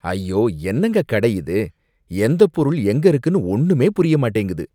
ஐயோ! என்னங்க கடை இது! எந்தப் பொருள் எங்க இருக்குனு ஒன்னுமே புரிய மாட்டேங்குது